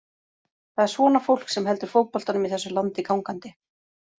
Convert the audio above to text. Það er svona fólk sem heldur fótboltanum í þessu landi gangandi.